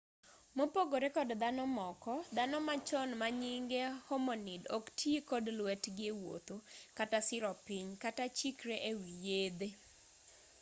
mopogore kod dhano moko dhano machon manyinge homonid ok tii kod lwetgi ewuotho kata siro piny kata chikre ewii yedhee